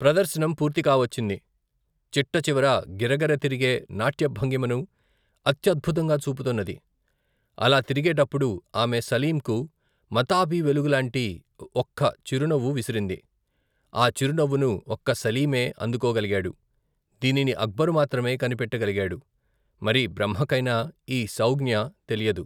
ప్రదర్శనం పూర్తికావచ్చింది చిట్ట చివర గిరగిర తిరిగే, నాట్యభంగిమను అత్యద్భుతంగా చూపుతున్నది అలా తిరిగేటప్పుడు ఆమె సలీంకు, మతాబీ వెలుగులాంటి ఒక్క చిరునవ్వు విసిరింది ఆ చిరు నవ్వును ఒక్క సలీమే అందుకోగలిగాడు దీనిని అక్బరు మాత్రమే కనిపెట్టగలిగాడు మరి బ్రహ్మకైనా ఈ సౌఙ్ఞ తెలియదు.